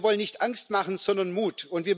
Wir wollen nicht Angst machen, sondern Mut.